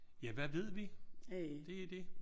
Ja hvad ved vi? Det der det